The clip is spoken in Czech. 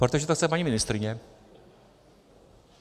Protože to chce paní ministryně.